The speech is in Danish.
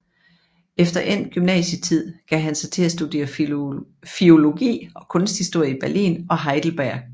Efter endt gymnasietid gav han sig til at studere filologi og kunsthistorie i Berlin og Heidelberg